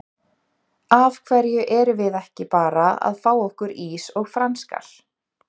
Af hverju erum við ekki bara að fá okkur ís og franskar?